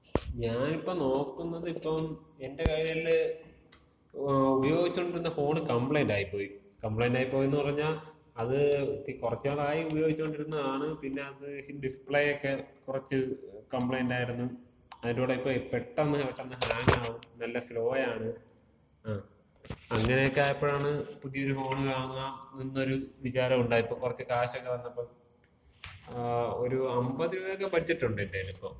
ഞാനിപ്പോ നോക്കുന്നത് ഇപ്പം, എന്‍റെ കൈയില് ഉപയോഗിച്ചോണ്ടിരുന്ന ഫോണ് കമ്പ്ലൈന്‍റ് ആയിപ്പോയി. കംപ്ലൈന്‍റായിപ്പോയിന്ന് പറഞ്ഞാ, അത് ഇത്തി കൊറച്ച് നാളായി ഉപയോഗിച്ചുകൊണ്ടിരുന്നതാണ്, പിന്ന അതീ ഡിസ്പ്ലേക്ക കുറച്ച് കമ്പ്ലൈന്‍റായിരുന്നു. അതിന്‍റൂട ഇപ്പൊ പെട്ടെന്ന് പെട്ടെന്ന് ഹാങ്ങ് ആവും. നല്ല സ്ലോ ആണ്. ങ്ങാ അങ്ങനെക്ക ആയപ്പഴാണ് പുതിയൊരു ഫോൺ വാങ്ങാം എന്നൊരു വിചാരം ഉണ്ടായത്. ഇപ്പ കുറച്ച് കാശൊക്കെ വന്നപ്പോ, ങാ, ഒരു 50 രൂപേക്ക ബഡ്ജറ്റുണ്ട് എന്‍റെലിപ്പം.